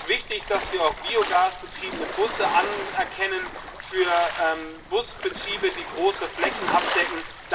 Es ist wichtig, dass wir auch biogasbetriebene Busse anerkennen für Busbetriebe, die große Flächen abdecken.